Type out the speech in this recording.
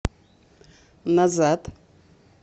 назад